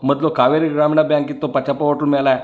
ಮೊದ್ಲುಕಾವೇರಿ ಗ್ರಾಮೀಣ ಬ್ಯಾಂಕ್ ಇತ್ತು ಪಚ್ಚಪ್ಪ ಹೊಟ್ಲ್ ಮೇಲೆ.